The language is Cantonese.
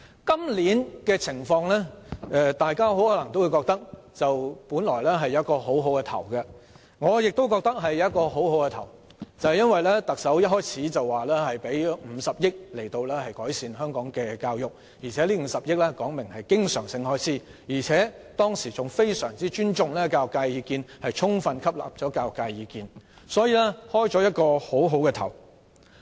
大家或許也認為今年原本開局不錯，而我亦認為開局不錯，因為特首一開始便表示會撥款50億元以改善香港教育，並表明這50億元屬經常性開支，當時還十分尊重並充分吸納教育界的意見，所以開局不錯。